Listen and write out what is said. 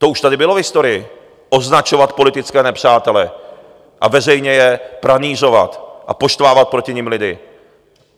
To už tady bylo v historii, označovat politické nepřátele a veřejně je pranýřovat a poštvávat proti nim lidi.